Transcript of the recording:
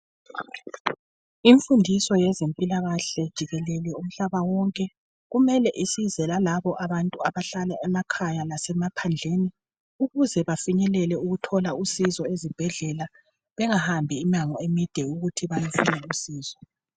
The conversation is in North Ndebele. Imfundiso ngezempilakahle jikelele umhlaba wonke kumbe isize lalabo abantu abahlala emakhaya lasemaphandleni ukuze bafinyelele ukuthola usizo ezibhedlela bengahambi imango emide ukuze bathole usizo.